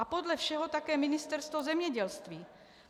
A podle všeho také Ministerstvo zemědělství.